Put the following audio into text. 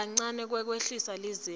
nakancane kwehliswa kwelizinga